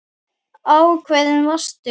Ákveðin varstu.